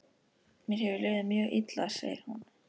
Mér hefur liðið mjög illa, segir hún.